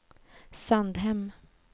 Sandhem